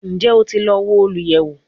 Njẹ o ti lọ wo oluyẹwo?